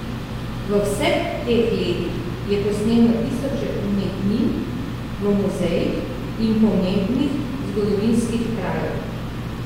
V vseh teh letih je posnel na tisoče umetnin v muzejih in pomembnih zgodovinskih krajev.